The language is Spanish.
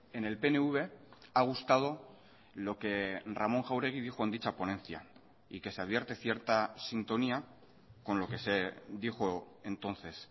en el pnv ha gustado lo que ramón jáuregui dijo en dicha ponencia y que se advierte cierta sintonía con lo que se dijo entonces